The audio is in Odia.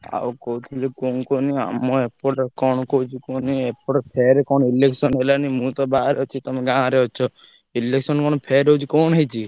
ଆଉ କହୁଥିଲି କଣ କୁହନି ଆମ ଏପଟେ କଣ କହୁଛି କୁହନି ଏପଟେ ଫେରେ କଣ election ହେଲାଣି ମୁଁ ତ ବାହାରେ ଅଛି ତମେ ଗାଁରେ ଅଛ, election କଣ ଫେରେ ହଉଛି କଣ ହେଇଚି?